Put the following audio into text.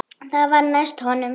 Hvað var næst honum?